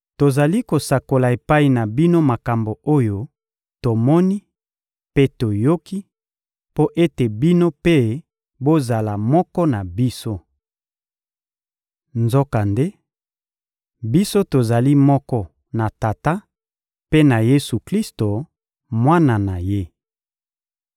Tozali kosakola epai na bino makambo oyo tomoni mpe toyoki, mpo ete bino mpe bozala moko na biso. Nzokande, biso tozali moko na Tata mpe na Yesu-Klisto, Mwana na Ye.